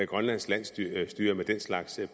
grønlands landsstyre landsstyre med den slags